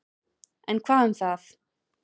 En, hvað um það.